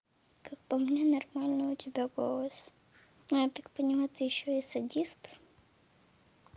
как по мне нормальный у тебя голос но я так понимаю ты ещё и садист